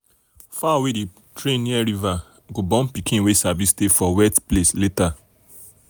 fowl wey dem train near river go born pikin wey sabi stay for wet place later.